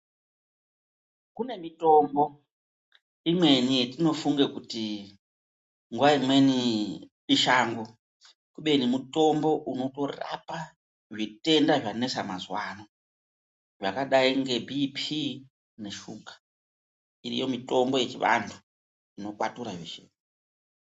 Kune mitombo imweni yetinofunga kuti nguva imweni ishango kubeni mitombo unotorape mikhihlane inonetsa mazuva ano, yakadai ngebhiipii neshuga, iriyo mitombo yechiantu inokwatura zveshe.